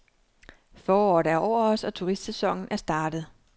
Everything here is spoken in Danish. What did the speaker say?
Foråret er over os, og turistsæsonen er startet.